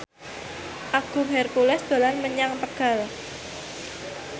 Agung Hercules dolan menyang Tegal